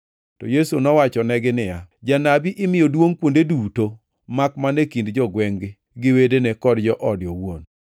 To Yesu nowachonegi niya, “Janabi imiyo duongʼ kuonde duto, makmana e kind jogwengʼ-gi gi wedene kod joode owuon.”